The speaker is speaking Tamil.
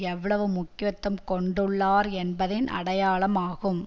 எவ்வளவு முக்கியத்துவம் கொண்டுள்ளார் என்பதின் அடையாளம் ஆகும்